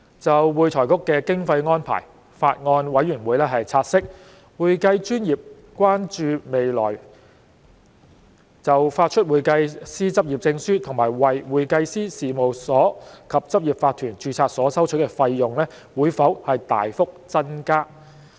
就會財局的經費安排，法案委員會察悉，會計專業關注未來就發出會計師執業證書和為會計師事務所及執業法團註冊所收取的費用會否大幅增加。